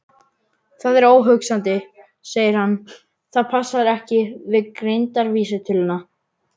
Það er óhugsandi, segir hann, það passar ekki við greindarvísitöluna.